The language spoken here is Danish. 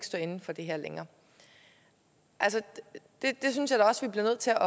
stå inde for det her længere altså det synes jeg da også vi bliver nødt til at